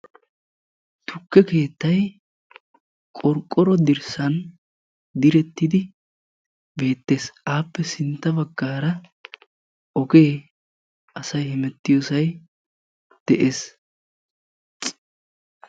tukke keettay qorqoro dirssani direttidi beettessi aappe sintta bagarakka oge assay hemetiyossay beettesi.